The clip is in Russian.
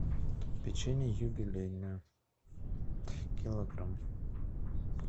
печенье юбилейное килограмм